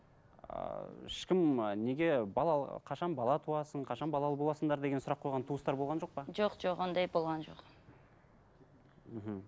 ыыы ешкім ы неге қашан бала туасың қашан балалы боласыңдар деген сұрақ қойған туыстар болған жоқ па жоқ жоқ ондай болған жоқ мхм